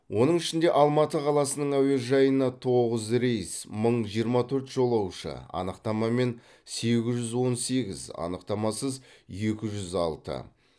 оның ішінде алматы қаласының әуежайына тоғыз рейс мың жиырма төрт жолаушы анықтамамен сегіз жүз он сегіз анықтамасыз екі жүз алты